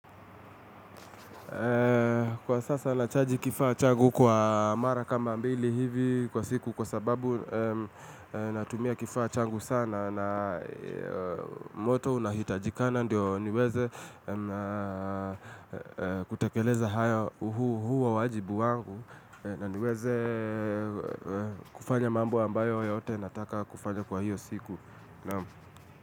Kwa sasa nachaji kifaa changu kwa mara kama mbili hivi kwa siku kwa sababu natumia kifaa changu sana na moto unahitajikana ndio niweze kutekeleza haya huo wajibu wangu na niweze kufanya mambo ambayo yote nataka kufanya kwa hiyo siku.